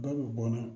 Dɔ bɛ bɔ